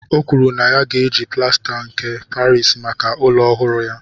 O kwuru na ya ga-eji plasta nke Parisi maka ụlọ ọhụrụ ya